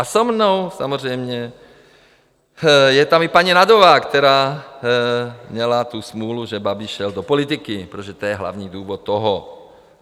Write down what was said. A se mnou samozřejmě je tam i paní Nagyová, která měla tu smůlu, že Babiš šel do politiky, protože to je hlavní důvod toho.